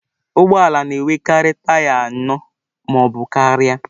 Ụgbọ ala na-enwekarị taya anọ ma ọ bụ karịa.